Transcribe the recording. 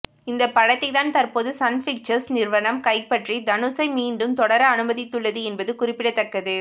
இந்தப் படத்தைத்தான் தற்போது சன் பிக்சர்ஸ் நிறுவனம் கைப்பற்றி தனுஷை மீண்டும் தொடர அனுமதித்துள்ளது என்பது குறிப்பிடத்தக்கது